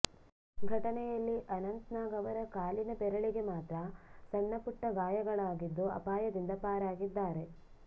ಘಟನೆಯಲ್ಲಿ ಅನಂತನಾಗ್ ಅವರ ಕಾಲಿನ ಬೆರಳಿಗೆ ಮಾತ್ರ ಸಣ್ಣ ಪುಟ್ಟ ಗಾಯಗಳಾಗಿದ್ದು ಅಪಾಯದಿಂದ ಪಾರಾಗಿದ್ದಾರೆ